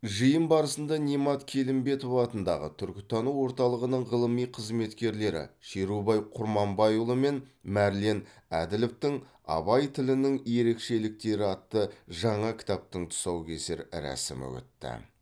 жиын барысында немат келімбетов атындағы түркітану орталығының ғылыми қызметкерлері шерубай құрманбайұлы мен мәрлен әділовтің абай тілінің ерекшеліктері атты жаңа кітаптың тұсаукесер рәсімі өтті